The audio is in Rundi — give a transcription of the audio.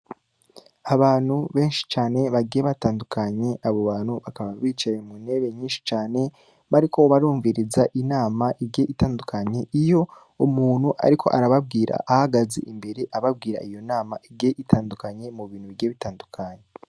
Abantu Beshi cane bagiye Batandukanye, abobabantu bakaba bicaye muntebe nyishi cane, bariko barumviriza inama, Igiye itandukanye, Iyo umuntu ariko arababwira ahagaze imbere, ababwira iyo nama Igiye itandukanya mubintu bigiye bitandukanye.